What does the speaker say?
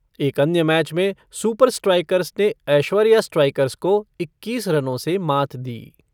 एक अन्य मैच में सुपर स्ट्राइकर्स ने एश्वर्या स्ट्राइकर्स को इक्कीस रनों से मात दी।